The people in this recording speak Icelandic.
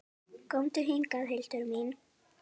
Komdu hingað, Hildur mín!